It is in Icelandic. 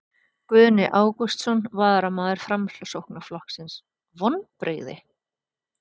Guðni Ágústsson, varaformaður Framsóknarflokksins: Vonbrigði?